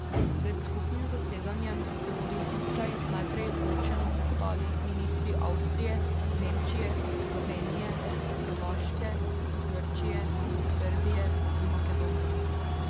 Pred skupnim zasedanjem se bodo zjutraj najprej ločeno sestali ministri Avstrije, Nemčije, Slovenije, Hrvaške, Grčije, Srbije in Makedonije.